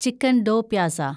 chicken do pyaza